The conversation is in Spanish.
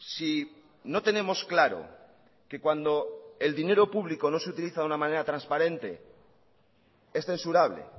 si no tenemos claro que cuando el dinero público no se utiliza de una manera transparente es censurable